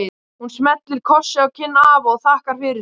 Hún smellir kossi á kinn afa og þakkar fyrir sig.